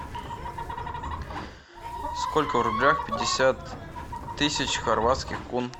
сколько в рублях пятьдесят тысяч хорватских кун